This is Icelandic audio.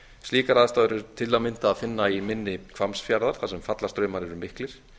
slíkar aðstæður eru til að mynda að finna í mynni hvammsfjarðar þar sem fallastraumar eru miklir